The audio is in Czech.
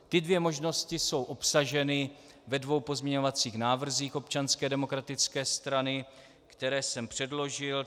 Ty dvě možnosti jsou obsaženy ve dvou pozměňovacích návrzích Občanské demokratické strany, které jsem předložil.